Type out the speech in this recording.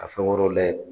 Ka fɛn wɛrɛw layɛ